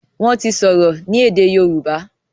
wón ti sọrọ ní èdè yorùbá